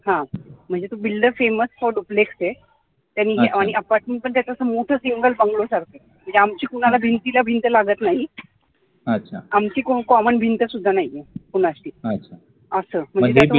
हा म्हणजे तो duplex आहे आणि apartment पण त्याच मोठं single bungalow सारखं आहे इथं आमची कुणाला भिंतीला भिंत लागत नाही आमची common भिंत सुद्धा नाहीये कुणाशी, असं